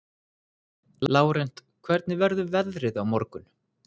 Lárent, hvernig verður veðrið á morgun?